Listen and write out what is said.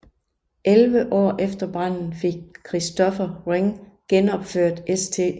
Elleve år efter branden fik Christopher Wren genopført St